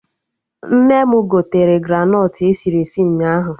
Nne m gotere granọt esiri esi ụnyaahụ